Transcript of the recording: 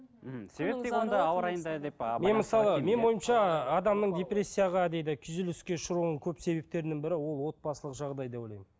менің ойымша адамның депрессияға дейді күйзеліске ұшырауын көп себептерінің бірі ол отбасылық жағдай деп ойлаймын